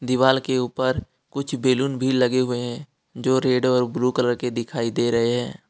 दिवाल के ऊपर कुछ बैलून भी लगे हुए हैं जो रेड और ब्लू कलर के दिखाई दे रहे हैं।